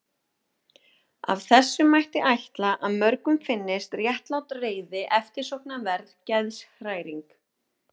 Af þessu mætti ætla að mörgum finnist réttlát reiði eftirsóknarverð geðshræring.